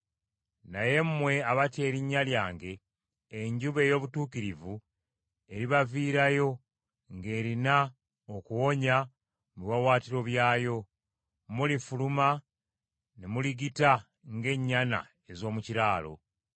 Naye mmwe abatya erinnya lyange, enjuba ey’obutuukirivu eribaviirayo ng’erina okuwonya mu biwaawaatiro byayo. Mulifuluma ne muligita ng’ennyana ez’omu kiraalo.